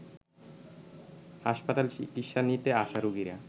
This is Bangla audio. হাসপাতালে চিকিৎসা নিতে আসা রোগীরা